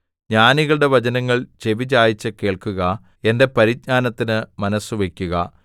ജ്ഞാനികളുടെ വചനങ്ങൾ ചെവിചായിച്ച് കേൾക്കുക എന്റെ പരിജ്ഞാനത്തിന് മനസ്സുവയ്ക്കുക